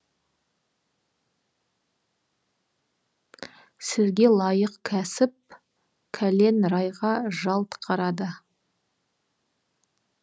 сізге лайық кәсіп кәлен райға жалт қарады